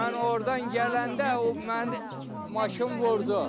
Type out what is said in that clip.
Mən ordan gələndə o mənə maşın vurdu.